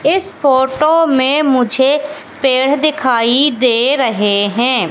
इस फोटो में मुझे पेड़ दिखाई दे रहे हैं।